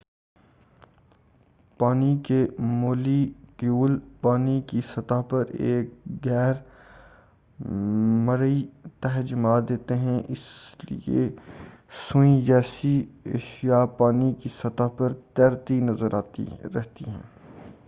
پانی کے molecules پانی کی سطح پر ایک غیر مرئی تہہ جما دیتے ہیں اسی لئے سوئی جیسی اشیاء پانی کی سطح پر تیرتی رہتی ہیں